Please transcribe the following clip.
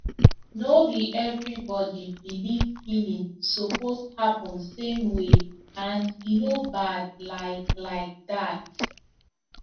no be everybody believe healing suppose happen same way and e no bad like like that